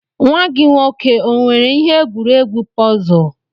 Nwa gi nwoke o nwere ihe egwuregwu pọzul?